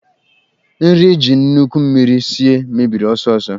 Nri eji nnukwu mmiri sie mebiri ọsọ ọsọ.